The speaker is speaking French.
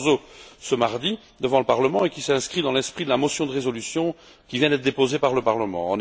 Barroso, ce mardi, devant le Parlement, qui s'inscrit dans l'esprit de la proposition de résolution qui vient d'être déposée par le Parlement.